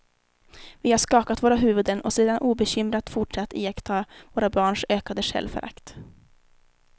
Vi har skakat våra huvuden och sedan obekymrat fortsatt iaktta våra barns ökande självförakt.